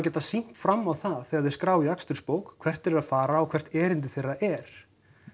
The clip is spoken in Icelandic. geta sýnt fram á það þegar þeir skrá í akstursbók hvert þeir eru að fara og hvert erindi þeirra er